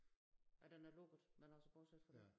Ja den er lukket men altså bortset fra det